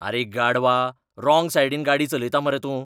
अरे गाढवा. राँग सायडीन गाडी चलयता मरे तूं.